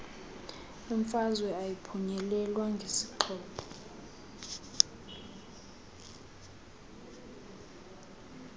imfazwe ayiphunyelelwa ngezixhobo